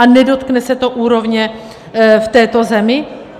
A nedotkne se to úrovně v této zemi?